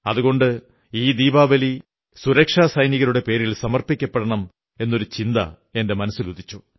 അതുകൊണ്ട് ഈ ദീപാവലി സുരക്ഷാസൈനികരുടെ പേരിൽ സമർപ്പിക്കപ്പെടണം എന്നൊരു ചിന്ത എന്റെ മനസ്സിലുറച്ചു